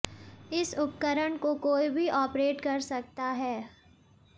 इस उपकरण को कोई भी ऑपरेट कर सकता है